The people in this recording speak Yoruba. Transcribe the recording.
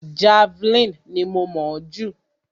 Javeline ni mo mọ̀ ọ́ jù.